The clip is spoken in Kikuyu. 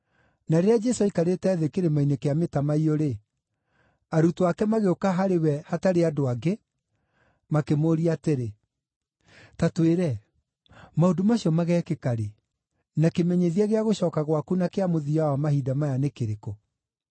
Na rĩrĩa Jesũ aikarĩte thĩ Kĩrĩma-inĩ kĩa Mĩtamaiyũ-rĩ, arutwo ake magĩũka harĩ we hatarĩ andũ angĩ, makĩmũũria atĩrĩ, “Ta twĩre, maũndũ macio mageekĩka rĩ, na kĩmenyithia gĩa gũcooka gwaku na kĩa mũthia wa mahinda maya nĩ kĩrĩkũ?”